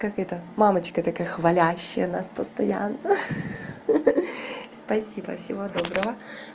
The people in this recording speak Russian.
как это мамочка такая хвалящая нас постоянно спасибо всего доброго